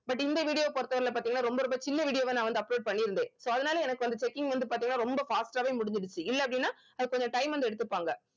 but இந்த video பொறுத்த வரையில பார்த்தீங்கன்னா ரொம்ப ரொம்ப சின்ன video வா நான் வந்து upload பண்ணியிருந்தேன் so அதனால எனக்கு வந்து checking வந்து பாத்தீங்கன்னா ரொம்ப fast ஆவே முடிஞ்சிடுச்சு இல்ல அப்படின்னா அதுக்கு கொஞ்சம் time வந்து எடுத்துப்பாங்க